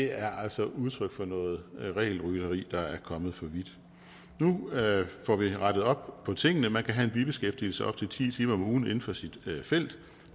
er altså udtryk for noget regelrytteri der er kommet for vidt nu får vi rettet op på tingene man kan have en bibeskæftigelse op til ti timer om ugen inden for sit felt